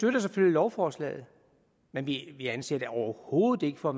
lovforslaget men vi anser det overhovedet ikke for at